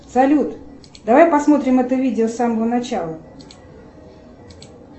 салют давай посмотрим это видео с самого начала